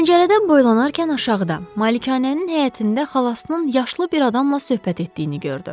Pəncərədən boylanarkən aşağıda, malikanənin həyətində xalasının yaşlı bir adamla söhbət etdiyini gördü.